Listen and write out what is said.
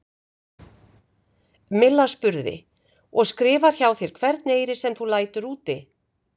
Milla spurði: Og skrifar hjá þér hvern eyri, sem þú lætur úti?